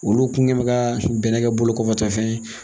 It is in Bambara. Olu kun kɛ bɛ ka bɛnɛ kɛ bolokɔfɛtɔfɛn ye